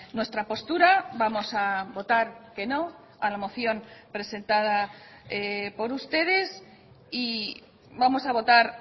nuestra postura vamos a votar que no a la moción presentada por ustedes y vamos a votar